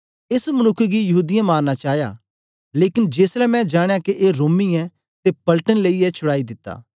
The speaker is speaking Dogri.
एस मनुक्ख गी यहूदीयें मारना चाया लेकन जेसलै मैं जानयां के ए रोमी ऐ ते पलटन लेईयै छुड़ाई दिता